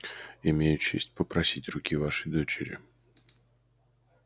имею честь попросить руки вашей дочери